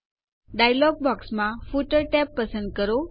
dialog બોક્સમાં footer tab પસંદ કરો